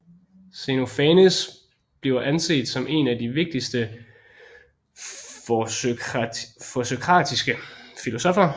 Xenofanes bliver anset som en af de vigtigste førsokratiske filosoffer